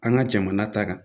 An ka jamana ta kan